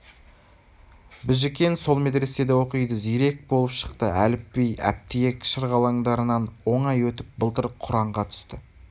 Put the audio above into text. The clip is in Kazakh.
біжікен сол медреседе оқиды зирек болып шықты әліпби әптиек шырғалаңдарынан оңай өтіп былтыр құранға түсті